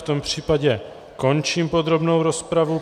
V tom případě končím podrobnou rozpravu.